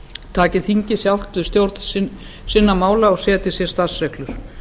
taki þingið sjálft við stjórn sinna mála og setji sér starfsreglur